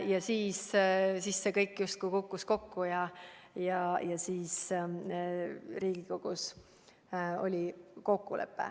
Ja siis see kõik justkui kukkus kokku ja Riigikogus tehti kokkulepe.